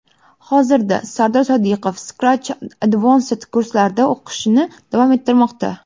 Hozirda Sardor Sodiqov Scratch Advanced kurslarida o‘qishini davom ettirmoqda.